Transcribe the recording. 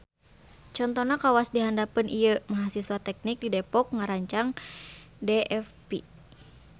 Contona kawas di handapeun ieuMahasiswa teknik di depok ngarancang dfv